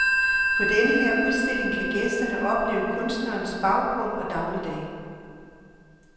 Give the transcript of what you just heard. På den her udstilling kan gæsterne opleve kunstnerens baggrund og dagligdag.